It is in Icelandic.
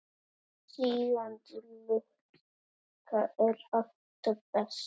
Sígandi lukka er alltaf best.